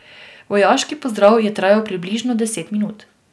Vojaški pozdrav je trajal približno deset minut.